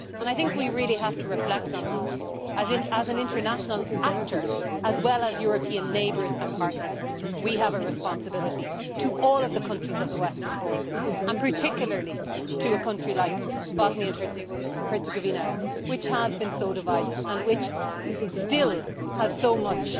I think we really have to reflect on the fact that, as an international actor, and as European neighbours and partners, we have a responsibility to all the countries of the Western Balkans, and particularly to a country like Bosnia and Herzegovina, which has been so divided and which still has so much